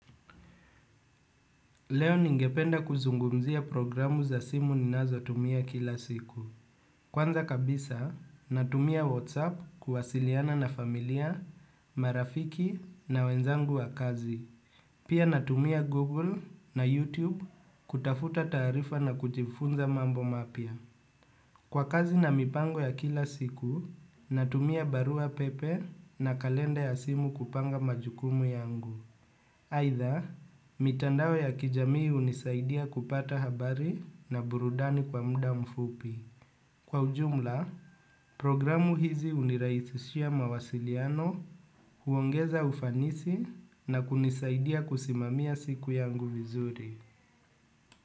Leo ningependa kuzungumzia programu za simu ninazo tumia kila siku. Kwanza kabisa, natumia WhatsApp kuwasiliana na familia, marafiki na wenzangu wa kazi. Pia natumia Google na YouTube kutafuta tarifa na kujifunza mambo mapia. Kwa kazi na mipango ya kila siku, natumia barua pepe na kalenda ya simu kupanga majukumu yangu. Haitha, mitandawo ya kijamii unisaidia kupata habari na burudani kwa muda mfupi. Kwa ujumla, programu hizi uniraihishia mawasiliano huongeza ufanisi na kunisaidia kusimamia siku yangu vizuri.